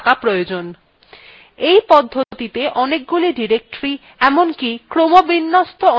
এই পদ্ধতিতে অনেকগুলি ডিরেক্টরী এমনকি ক্রমবিন্যস্ত অনেকগুলি ডিরেক্টরীof তৈরী করা যায়